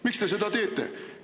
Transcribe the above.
Miks te seda teete?